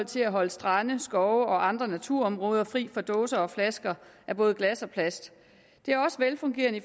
til at holde strande skove og andre naturområder fri for dåser og flasker af både glas og plast det er også velfungerende